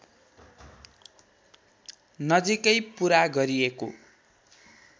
नजिकै पुरा गरिएको